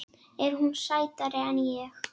Er hún sætari en ég?